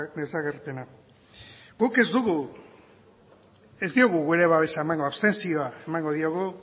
desagerpena guk ez diogu gure babesa emango abstentzioa emango diogu